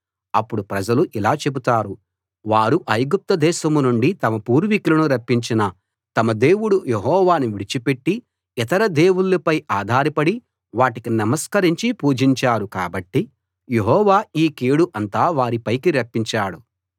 అప్పుడు ప్రజలు ఇలా చెబుతారు వారు ఐగుప్తు దేశం నుండి తమ పూర్వీకులను రప్పించిన తమ దేవుడు యెహోవాను విడిచిపెట్టి ఇతర దేవుళ్ళపై ఆధారపడి వాటికి నమస్కరించి పూజించారు కాబట్టి యెహోవా ఈ కీడు అంతా వారి పైకి రప్పించాడు